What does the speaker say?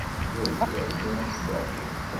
джой играй дэнс даффи